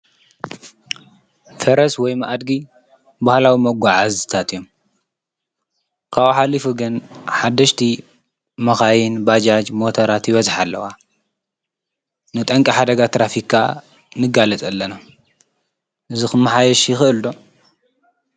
ፈረስ ወይም ኣድጊ ባህላዊ መጓዓዝታት እዮም፡፡ ካብኡ ሓሊፉ ግን ሓደሽቲ መኻይ፣ ባጃጅን ሞቶራትን ይበዝሓ ኣለዋ፡፡ ንጠንቂ ሓደጋ ትራፊክ ከዓ ንጋለፅ ኣለና፡፡ እዚ ክመሓየሽ ይክእል ዶ?